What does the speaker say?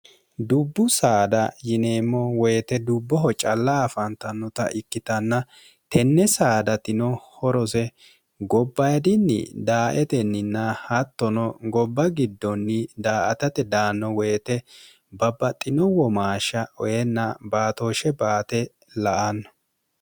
dubbu saada yineemmo woyite dubboho calla afaantannota ikkitanna tenne saada tino horose gobbaidinni daaetenninna hattono gobba giddonni daa atate daanno woyite babbaxxino womaashsha oyenna baatooshshe baate la anno